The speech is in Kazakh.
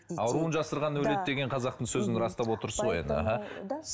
ауруын жасырған өледі деген қазақтың сөзін растап отырсыз ғой енді аха да